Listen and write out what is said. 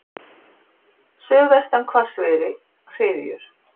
Suðvestan hvassviðri, hryðjur.